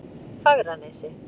Fagranesi